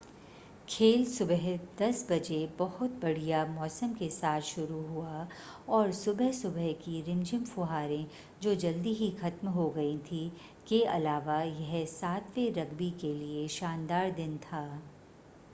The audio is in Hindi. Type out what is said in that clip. खेल सुबह 10:00 बजे बहुत बढ़िया मौसम के साथ शुरू हुआ और सुबह-सुबह की रिमझिम फुहारें जो जल्दी ही ख़त्म हो गई थीं के अलावा यह 7वे रग्बी के लिए शानदार दिन था